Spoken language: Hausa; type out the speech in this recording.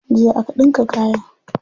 Jiya aka ɗinka kayan.